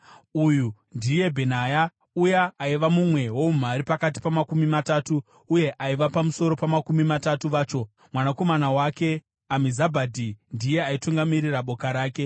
Uyu ndiye Bhenaya uya aiva mumwe woumhare pakati paMakumi Matatu uye aiva pamusoro paMakumi Matatu vacho. Mwanakomana wake Amizabhadhi ndiye aitungamirira boka rake.